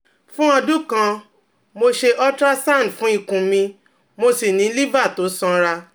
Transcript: Fun odun kan, mo se untrasound fun ikun mi mo si ni liver to sonra